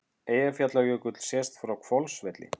Eyjafjallajökull sést frá Hvolsvelli.